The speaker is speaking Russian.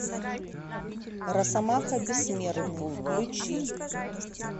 росомаха бессмертный включи